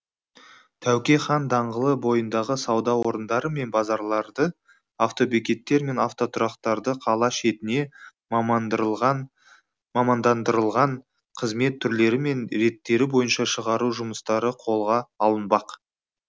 тәуке хан даңғылы бойындағы сауда орындары мен базарларды автобекеттер мен автотұрақтарды қала шетіне мамандандырылған қызмет түрлері мен реттері бойынша шығару жұмыстары қолға алынбақ